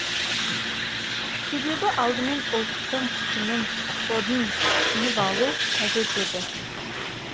себебі алдымен ұлттың тінін кодын түсініп алу қажет еді